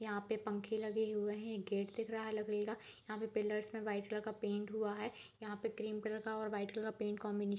यहां पे पंखे लगे हुए हैं गेट दिख रहा है लकड़ी का यहां पे पिलर्स में वाइट कलर का पेंट हुआ है यहां पे क्रीम कलर का और व्हाइट कलर का पेंट कॉम्बिने --